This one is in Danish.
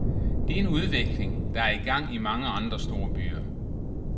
Det er en udvikling, der er i gang i mange andre storbyer.